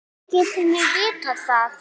Hvernig getum við vitað það?